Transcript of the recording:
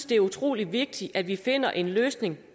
det er utrolig vigtigt at vi finder en løsning